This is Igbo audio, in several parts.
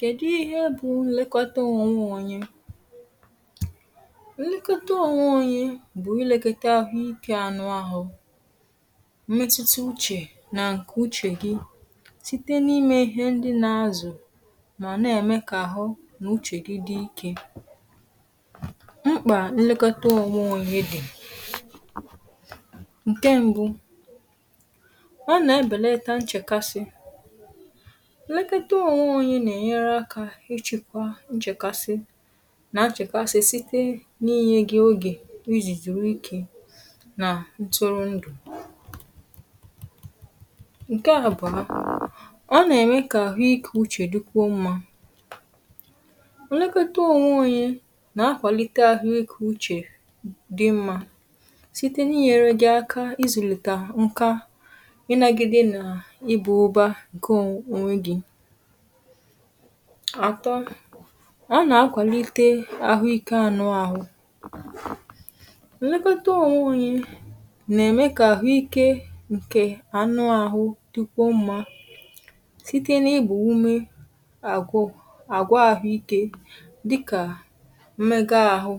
kèdi ihe bụ̀ nlekọta ọnwụonye. nlekọta ọnwụonye bụ̀ ilėghotȧ ȧhụ̇ ike anụ ahụ̇, mmetuta uchè, nà ǹkè uchè gị, site n’ime ihe ndị na-azụ̀ mà nà-ème kà àhụ nà uchè dị̇ ike. mkpà nlekọta ọnwụonye dị̀ nke mbụ̇ ọ nà-ebèleta nchèkasi ụlọ̀ ekote ònwụ̇, um ȯ onye nà-ènyere akȧ ịchị̇kwa nchèkasi nà-achèkasi site n’inyė gị̇ ogè izì, dùrù ikė nà ntụrụ ndụ̀. ǹkè àbà, ọ nà-ème kà àhụ ikė uchè dukwu mmȧ. ọ̀ nà-ème kà àhụ ikė uchè dukwu mmȧ, olẹkote ònwụ̇ onye nà-akwàlite àhụ ikė uchè dị mmȧ site n’inyėrė gị̇ aka ịzụ̇lìtà ǹka ịnȧgị̇ dị nà ịbụ̇ ụba ǹkè o nwe gị àtọ. a nà-akwàlite àhụikė anụȧhụ̇, mmekọta onwe onye nà-ème kà àhụikė ǹkè ànụ àhụ dịkwuo mmȧ site n’igbò ume, àgwụ àgwà àhụikė dịkà mmega ȧhụ̇,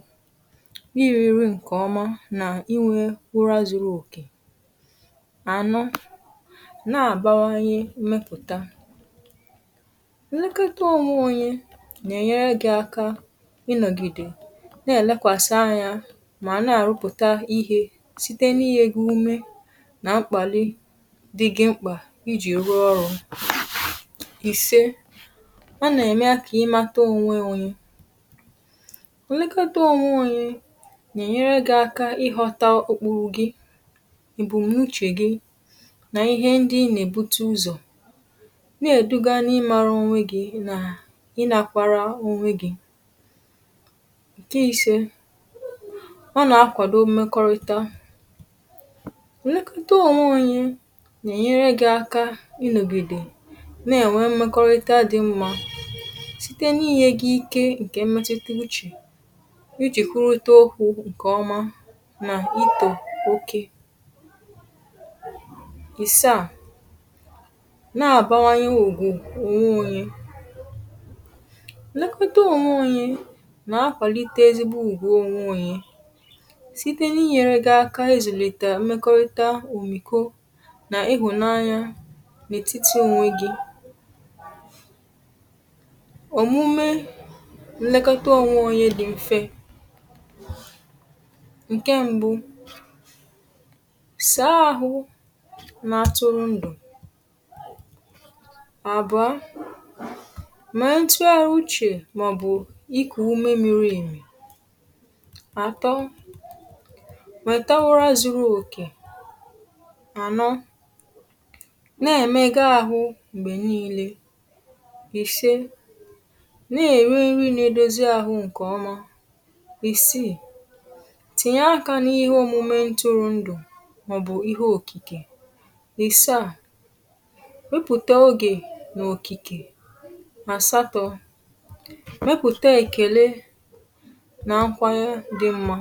iri̇ri̇ ǹkèọma nà iwė gbụrụazụrụ òkè anụ, um na-àbawanye mmepụ̀ta. ǹlekata òmùo onye nà-ènyere gị̇ aka ịnọ̀gìdè nà-èlekwàsị anyȧ, mà nà-àrụpụ̀ta ihė site n’inyė gị̇ ume nà mkpàli dị gị mkpà iji̇ rụọ ọrụ̇. ìse, ọ nà-ème akȧ imȧta ònwe ònye — ònlekata òmùo onye nà-ènyere gị̇ aka ịghọ̇ta okpuru gị, èbùm̀nuchè gị, nà ihe ndị ị nà-ebute ụzọ̀ i na-akwara onwe gị̇. ǹkè ise, ọ nà-àkwado mmekọrịta, o nėkọrịta ò nweghi onwe onye nà-ènyere gị̇ aka inȯgìdè na-ènwe mmekọrịta dị mma site n’inyė gị̇ ike ǹkè mmetiti uchè iji̇ kwuruta okwu̇ ǹkèọma nà itò oke. ìse à, nlekọta ònwe onye nà-akọ̀lite ezigbo ùgwù onwe onye site n’inyèrè gȧ ȧkȧ ėzùlètà mmekọ̇rị̇tȧ òmìko nà ihùnanya n’ètitì ònwe gị̇. òmume nlekọta ònwe onye dị̇ m̀fe nkè mbụ̇ sȧȧhụ̇, na-atụ̇rụ̇ ndụ̀, mẹ̀ẹ̀ntu àrụ uchè màọ̀bụ̀ ikù ume miri. àtọ, um màtawa ra zuru òkè, ànọ nà-ẹ̀mẹga àhụ m̀gbè niilė, ìse nà-ẹ̀rẹ nri nà-edozi àhụ ǹkèọma. ìseè, tìnyè aka n’ihe òmume ntụrụ̀ ndụ̀ màọ̀bụ̀ ihe òkìkè. ìse à, mepụ̀ta èkele na nkwanyȧ dị mmȧ.